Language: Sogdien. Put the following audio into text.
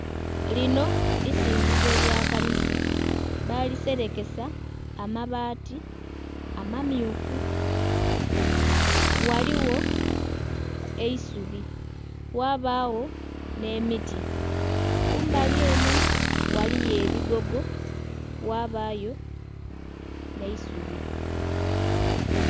Lino isinzizo lya kanisa baaliserekesa amabaati amamyufu. Ghaligho eisubi ghabagho n'emiti, kumbali eno ghaliyo ebigogo ghabayo n'eisubi.